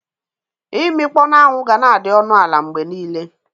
Imikpo n'anwụ ga-na adị ọnụ ala mgbe niile.